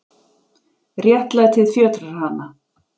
Réttlætið fjötrar hana.